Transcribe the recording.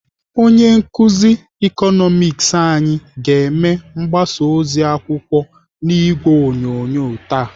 Onye nkụzi Ịkọnọmiks anyị ga-eme mgbasa ozi akwụkwọ n'ìgwè onyonyo taa.